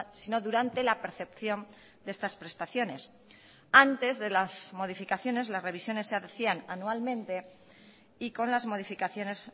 sino durante la percepción de estas prestaciones antes de las modificaciones las revisiones se hacían anualmente y con las modificaciones